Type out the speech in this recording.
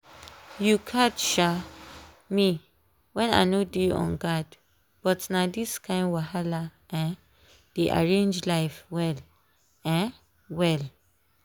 u catch um me when I no dey on guard but na this kain wahala dey arrange life well um well